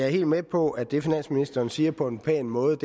helt med på at det finansministeren siger på en pæn måde